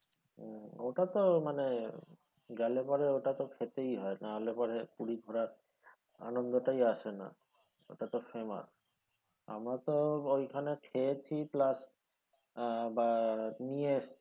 ওতা তো মানে গেলে পরে ওটা তো খেতেই হয় নাহলে পরে পুরি ঘোরার আনন্দটাই আসে না এতো famous আমারতো ওখানে খেয়েছি plus আহ বা নিয়ে এসছি,